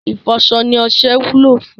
Ìfọṣọ ni ọṣẹ wúlò fún